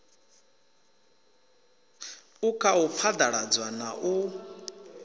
u khau phaḓalazwa na u